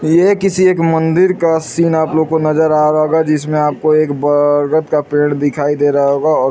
ये किसी एक मंदिर का सीन आप लोग को नज़र आ रहा होगा जिसमे आपको एक बरगद का पेड़ दिखाई दे रहा होगा और--